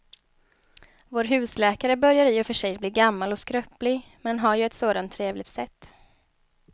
Vår husläkare börjar i och för sig bli gammal och skröplig, men han har ju ett sådant trevligt sätt!